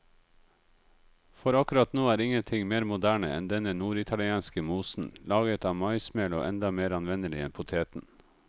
For akkurat nå er ingenting mer moderne enn denne norditalienske mosen, laget av maismel og enda mer anvendelig enn poteten.